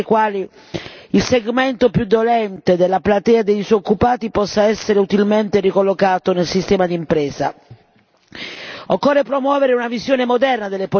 Tocca a noi, tocca all'Europa, costruire le premesse grazie alle quali il segmento più dolente della platea dei disoccupati potrà essere utilmente ricollocato nel sistema d'impresa.